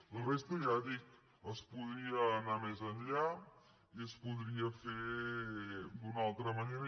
per la resta ja dic es podria anar més enllà i es podria fer d’una altra manera